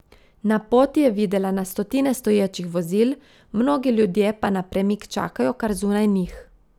Na poti je videla na stotine stoječih vozil, mnogi ljudje pa na premik čakajo kar zunaj njih.